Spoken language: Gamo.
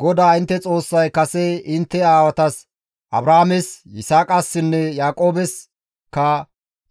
GODAA intte Xoossay kase intte aawatas Abrahaames, Yisaaqassinne Yaaqoobeska